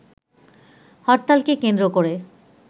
হরতালকে কেন্দ্র করে